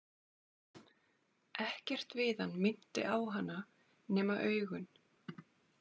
Ekkert við hann minnti á hana, nema augun.